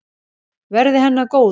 Verði henni að góðu.